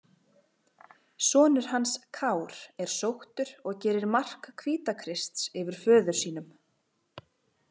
Sonur hans Kár er sóttur og gerir mark Hvítakrists yfir föður sínum.